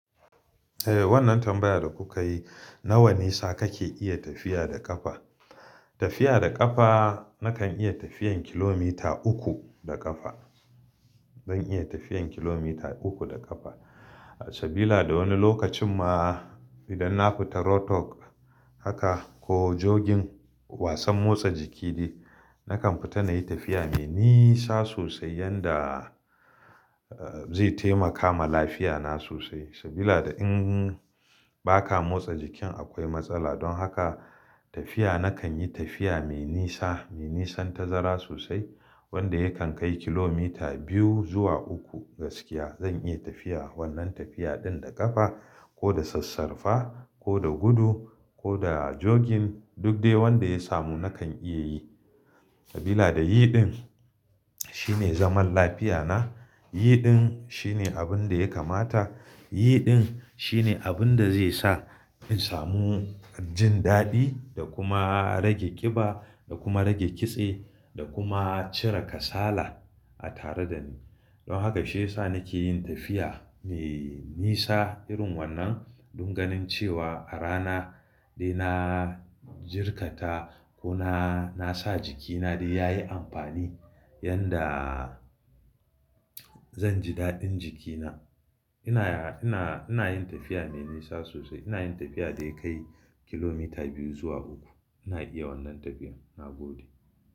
Eh wannan tambayar da kuka yi, nawa nisa kake iya tafiya da ƙafa? Tafiya da ƙafa nakan iya tafiyan kilomita uku da ƙafa. Zan iya tafiyan kilomita uku da ƙafa. Sabila da wani lokacin ma idan na fita roadwork haka ko jogging wasan motsa jiki de, nakan fita nayi tafiya mai nisa sosai yanda zai taimaka ma lafiyana sosai. Sabila da in baka motsa jikin akwai matsala. Don haka tafiya nakan yi tafiya mai nisa, mai nisan tazara sosai wanda yakan kai kilomita biyu zuwa uku gaskiya. Zan iya tafiya wannan tafiya ɗin da ƙafa ko da sassarfa ko da gudu ko da joggin duk dai wanda ya samu nakan iya yi. Sabila da yiɗin shine zaman lafiyana, yiɗin shine abin da ya kamata, yiɗin shine abin da zai sa in samu jin daɗi da kuma rage ƙiba da kuma rage kitse da kuma cire kasala a tare dani. Don haka shi ya sa nake yin tafiya mai nisa irin wannan don ganin cewa a rana dai na jirkata ko na, na sa jikina dai yayi amfani yanda zan ji daɗin jikina. Ina, ina, ina yin tafiya mai nisa sosai. Ina yin tafiya da ya kai kilomita biyu zuwa uku. Ina iya wannan tafiyan na gode.